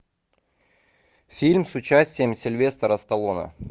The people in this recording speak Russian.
фильм с участием сильвестра сталлоне